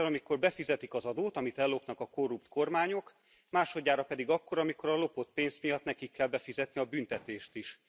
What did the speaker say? Egyszer, amikor befizetik az adót, amit ellopnak a korrupt kormányok, másodjára pedig akkor, amikor a lopott pénz miatt nekik kell befizetni a büntetést is.